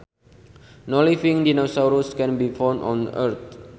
No living dinosaurs can be found on Earth